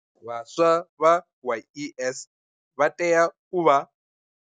Vhaswa vha YES vha tea u vha.